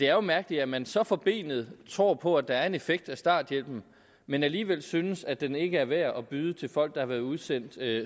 er mærkeligt at man så forbenet tror på at der er en effekt af starthjælpen men alligevel synes at den ikke er værd at byde folk der har været udsendt